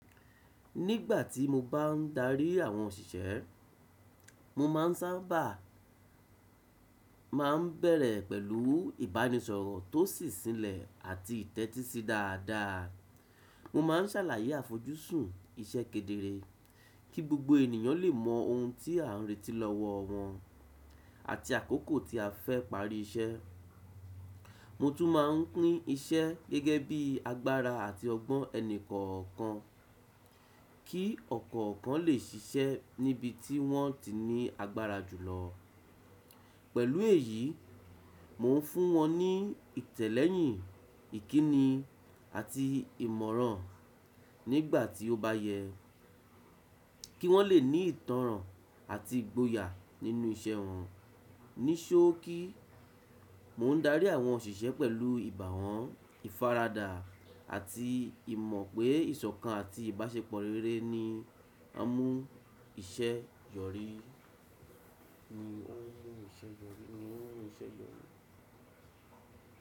Nígbà tí mo bá ń darí àwọn òṣìṣẹ́, mo má ń sábà má ń bẹ̀rẹ̀ pẹ̀lú ìbánisọ̀rọ̀ tó sì silẹ̀ àti ìtẹ́tí sí dáadáa. Mo má ń sàlàyé àfojúsùn iṣẹ́ kedere, kí gbogbo ènìyàn lè mọ ohun tí à ń retí lọ́wọ́ wọn àti àkókò tí a fẹ́ parí iṣẹ́. Mo tún má ń pín iṣẹ́ gẹ́gẹ́ bí agbára àti ọgbọ́n ẹni kọ̀ọ̀kan, kí ọ̀kọ̀ọ̀kan lè ṣiṣẹ́ níbi tí wọ́n ti ní agbára jùlọ. Pẹ̀lú èyí, mò ń fún wọn ní ìtẹ̀lẹ́yìn ìkíni àti ìmọ̀ràn nígbà tí ó bá yẹ, kí wọ́n lè ní ìtànràn àti ìgboyà nínú iṣẹ́ wọn. Ni sọ́ọ̀kì, mò ń darí àwọn òṣìṣẹ́ pẹ̀lú ìbàwọ́n, ìfaradà àti ìmọ̀ pé ìṣọ̀kan àti ìbáṣepọ̀ rere ni á mú iṣẹ́ yọrí. Ni o n mú iṣẹ́ yọrí. Ni o ne mú iṣẹ́ yọrí.